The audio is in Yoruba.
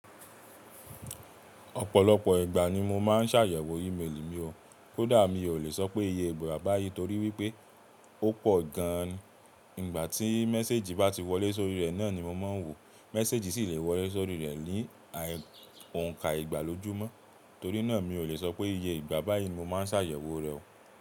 Opòlopò ìgbà ni mo maa s'àyèwò imeeli mi o. Kódà mi o lè so pé iye ìgbà bá yií torí wípé ó pọ̀ gán. Ìgbà tí méséèjì bá ti wọlé sórí rẹ̀ náà ni mo ma n wò o. Meeseji si le wolé sóri re ni òun ka ìgbà l'ójúmó. Torí naa mi o le s'opé iye ìgbà bayii mo maa s'àyèwò re o.